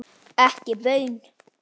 Ekki baun.